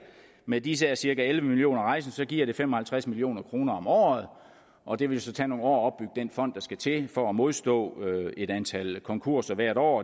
med disse cirka elleve million rejsende giver det fem og halvtreds million kroner om året og det vil så tage nogle år at den fond der skal til for at modstå et antal konkurser hvert år